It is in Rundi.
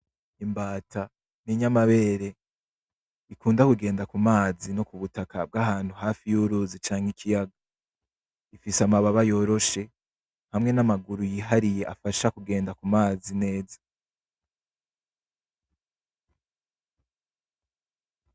Imbata n'inyamabere ikunda kugenda ku mazi no ku butaka bw'ahantu hafi y'uruzi canke ikiyaga ifise amababa yoroshe hamwe n'amaguru yihariye afasha kugenda ku mazi neza.